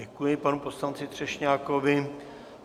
Děkuji panu poslanci Třešňákovi.